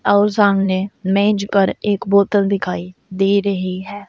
और सामने मेज पर एक बोतल दिखाई दे रही है।